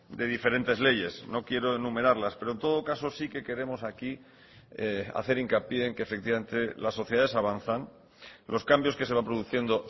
de diferentes leyes no quiero enumerarlas pero en todo caso sí que queremos aquí hacer hincapié en que efectivamente las sociedades avanzan los cambios que se van produciendo